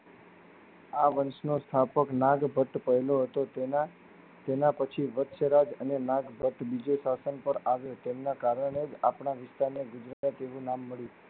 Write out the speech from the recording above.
આ વંશ નો સ્થાપક નાગ ભટ પહેલો હતો. તેના તેના પછી મચ્છ. રગ અને નાગ ભટ્ટ વિજય આસન પર આવી ચડયા કારણ એ જ આપના વિસ્તાર ને ગૃહપતિનું નામ મળ્યું.